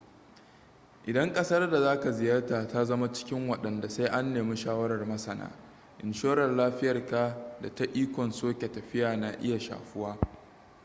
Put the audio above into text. idan ƙasar da za ka ziyarta ta zama cikin wadanda sai an nemi shawarar masana inshorar lafiyarka da ta ikon soke tafiya na iya shafuwa